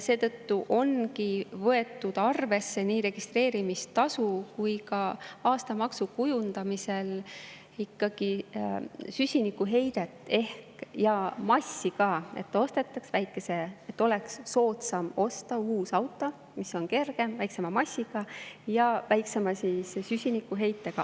Seetõttu ongi võetud nii registreerimistasu kui ka aastamaksu kujundamisel arvesse ka süsinikuheidet ja massi, et oleks soodsam osta uus auto, mis on kergem, väiksema massiga, ja väiksema süsinikuheitega.